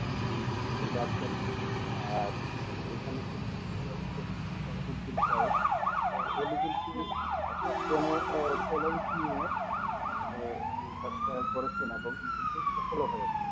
আর বিশ্বকাপ আছেন আর এখানে বিক্রি হচ্ছে সহী উদ্দিন সাহেব অনেকদিন পর একটা চ্যানেল নিয়ে মানে কাজটা করছে না মানে সফলতা হয়েছে